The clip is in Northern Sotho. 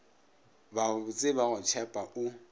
babotse ba go tšhepa o